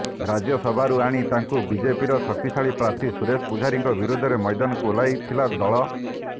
ରାଜ୍ୟସଭାରୁ ଆଣି ତାଙ୍କୁ ବିଜେପିର ଶକ୍ତିଶାଳୀ ପ୍ରାର୍ଥୀ ସୁରେଶ ପୂଜାରୀଙ୍କ ବିରୋଧରେ ମୈଦାନକୁ ଓହ୍ଲାଇଥିଲା ଦଳ